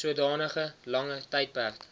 sodanige langer tydperk